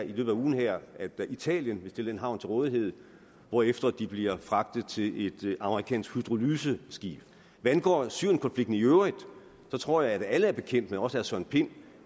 i løbet af ugen her at italien vil stille en havn til rådighed hvorefter de bliver fragtet til et amerikansk hydrolyseskib hvad angår syrienkonflikten i øvrigt tror jeg at alle er bekendt med også herre søren pind